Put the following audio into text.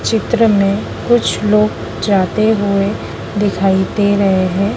चित्र में कुछ लोग जाते हुए दिखाई दे रहे हैं।